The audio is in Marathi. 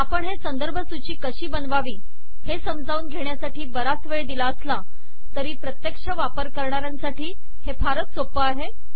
आपण हे संदर्भ सूची कशी बनवावी हे समजावून घेण्यासाठी बराच वेळ दिला असला तरी प्रत्येक्ष वापर करणाऱ्यांसाठी हे फारच सोपं आहे